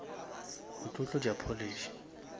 o tlo tlotša polish